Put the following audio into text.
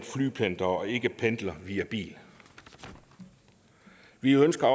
flypendler og ikke pendler via bil vi ønsker